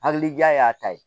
Hakilija y'a ta ye